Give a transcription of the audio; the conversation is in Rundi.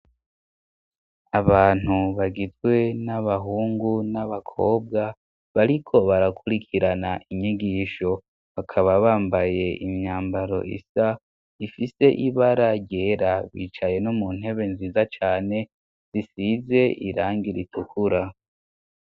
Abantu bagizwe n'abahungu n'abakobwa bariko barakurikirana inyigisho, bakaba bambaye imyambaro isa ifise ibara ryera bicaye no mu ntebe nziza cyane zisize irangi ritukura.